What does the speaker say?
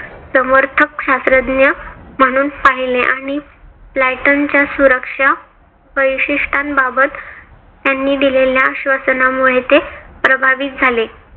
समर्थक शास्त्रज्ञ म्हणून पाहिले आणि सुरक्षा परिशिष्टान बाबत त्यांनी दिलेल्या आश्वासनामुळे ते प्रभावित झाले.